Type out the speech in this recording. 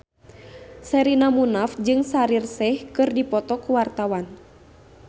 Sherina Munaf jeung Shaheer Sheikh keur dipoto ku wartawan